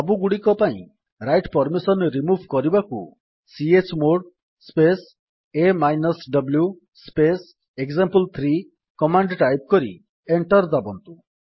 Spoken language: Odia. ସବୁଗୁଡ଼ିକ ପାଇଁ ରାଇଟ୍ ପର୍ମିସନ୍ ରିମୁଭ୍ କରିବାକୁ ଚମୋଡ଼ ସ୍ପେସ୍ a ଡବ୍ଲୁ ସ୍ପେସ୍ ଏକ୍ସାମ୍ପଲ3 କମାଣ୍ଡ୍ ଟାଇପ୍ କରି ଏଣ୍ଟର୍ ଦାବନ୍ତୁ